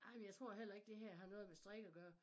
Nej men jeg tror heller ikke det her har noget med strik at gøre